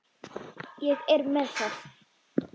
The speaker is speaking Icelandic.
Ég er með það.